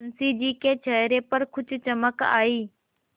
मुंशी जी के चेहरे पर कुछ चमक आई